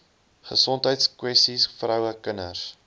gesondheidskwessies vroue kinders